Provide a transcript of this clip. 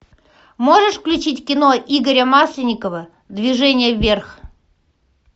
можешь включить кино игоря масленникова движение вверх